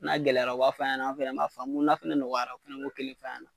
N'a gɛlɛyara u b'a f'a ɲɛna an fɛnɛ b'a famu, n'a fɛnɛ nɔgɔyara u fɛnɛ b'o kelen f'a ɲɛna.